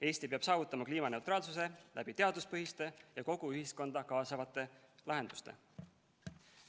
Eesti peab saavutama kliimaneutraalsuse teaduspõhiste ja kogu ühiskonda kaasavate lahendustega.